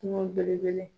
Kungo belebele